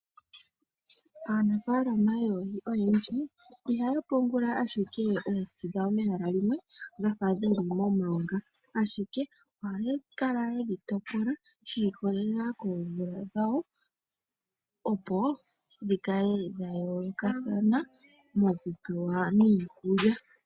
Aanafaalama yoohi oyendji ihaya pungula ashike oohi dhawo mehala limwe dhafa dhili momulonga ashike ohaya kala yedhi topola shi ikolelela koomvula dhawo, opo dhi kale dha yoolokathana hadhi pewa niikulya.